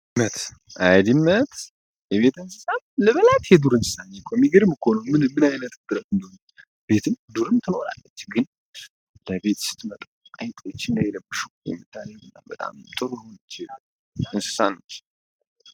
አመት የቤተ እንስሳም ልበላት የዱር እንስሳኝ የከሚግር ምኮሉ ምን ምንአይለትትረዶን ቤትም ዱርም ትኖራለች ግን ለቤት ስትመጡ አይጦች እንዳይለብሹሁምታለ እና በጣም ጥሩ ሆን ችለ እንስሳነች